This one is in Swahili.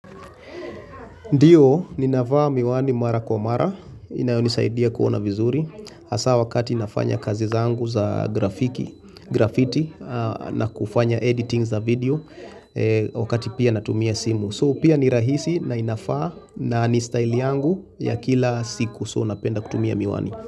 Ndiyo, ninavaa miwani mara kwa mara, inayonisaidia kuona vizuri. Hasaa wakati nafanya kazi zangu za grafiki, grafiti, na kufanya editing za video wakati pia natumia simu. So pia ni rahisi na inafaa na ni style yangu ya kila siku. So napenda kutumia miwani.